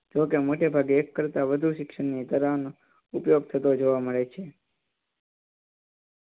જોકે મોટે ભાગે એક કરતાં વધુ શિક્ષણ ની નો ઉપયોગ થતો જોવા મળે છે.